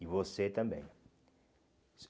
E você também.